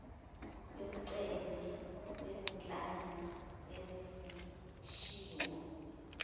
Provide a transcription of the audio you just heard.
yomceli wezinhlanga ezishiwo